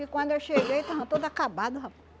E quando eu cheguei, estava todo acabado, rapaz.